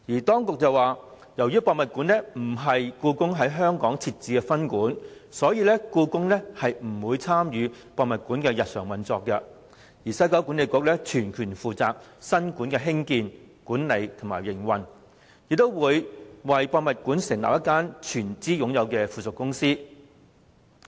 當局指，由於故宮館並非故宮在香港設置的分館，所以故宮不會參與故宮館的日常運作，西九文化區管理局會全權負責故宮館的興建、管理和營運，亦會成立一間由西九管理局董事局全資擁有的附屬公司。